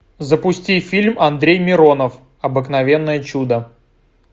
запусти фильм андрей миронов обыкновенное чудо